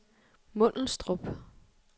Mundelstrup